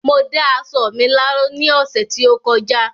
Mo dá aṣọ mi láró ní ọ̀sẹ̀ tí ó kọjá